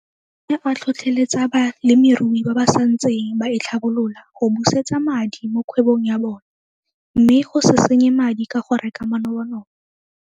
O ne a tlhotlheletsa balemirui ba ba sa ntseng ba itlhabolola go busetsa madi mo kgwebong ya bone mme go se senye madi ka go reka manobonobo.